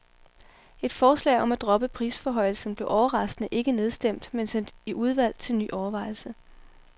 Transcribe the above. Et forslag om at droppe prisforhøjelsen blev overraskende ikke nedstemt, men sendt i udvalg til ny overvejelse.